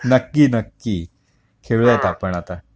नक्की नक्की खेळूयात आपण आता